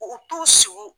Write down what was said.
U t'u sigi